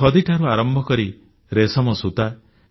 ଖଦିଠାରୁ ଆରମ୍ଭ କରି ରେଶମ ସୂତା